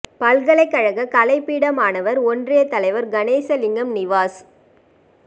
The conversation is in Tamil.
பல்கலைக் கழக கலைப்பீட மாணவர் ஒன்றியத் தலைவர் கணேசலிங்கம் நிவாஸ்